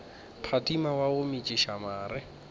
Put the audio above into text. phadima wa go metšiša mare